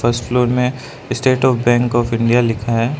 First floor में state of bank of India लिखा है।